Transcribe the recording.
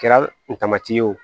Kɛra n tamati ye o